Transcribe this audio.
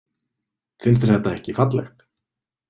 Finnst þér þetta ekki fallegt?